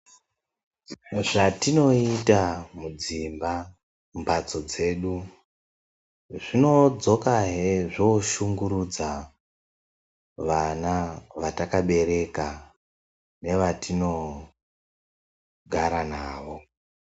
Zvatinoita mudzimba ,mumphatso dzedu, zvinodzokahe zvoshungurudza vana vatakabara nevatinogara navo.